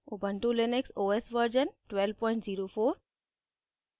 ubuntu Linux os version 1204